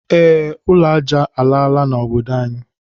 E, ụlọ aja alaala na obodo anyi